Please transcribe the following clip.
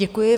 Děkuji.